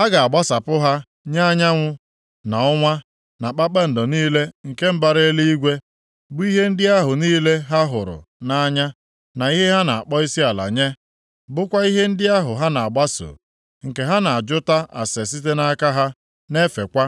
A ga-agbasapụ ha nye anyanwụ, na ọnwa, na kpakpando niile nke mbara eluigwe, bụ ihe ndị ahụ niile ha hụrụ nʼanya na ihe ha na-akpọ isiala nye. Bụkwa ihe ndị ahụ ha na-agbaso, nke ha na-ajụta ase site nʼaka ha, na-efekwa.